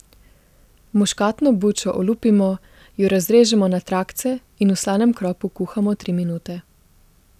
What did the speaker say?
Muškatno bučo olupimo, jo razrežemo na trakce in v slanem kropu kuhamo tri minute.